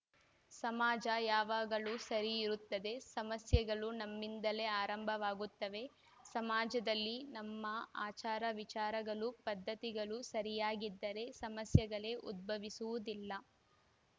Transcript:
ಸಮಾಜ ಯಾವಾಗಲು ಸರಿ ಇರುತ್ತದೆ ಸಮಸ್ಯೆಗಳು ನಮ್ಮಿಂದಲೇ ಆರಂಭವಾಗುತ್ತವೆ ಸಮಾಜದಲ್ಲಿ ನಮ್ಮ ಆಚಾರ ವಿಚಾರಗಳು ಪದ್ಧತಿಗಳು ಸರಿಯಾಗಿದ್ದರೆ ಸಮಸ್ಯೆಗಳೇ ಉದ್ಭವಿಸುವುದಿಲ್ಲ